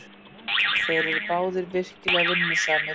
Þeir eru báðir virkilega vinnusamir.